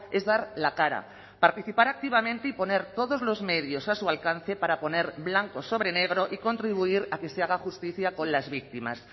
es dar la cara participar activamente y poner todos los medios a su alcance para poner blanco sobre negro y contribuir a que se haga justicia con las víctimas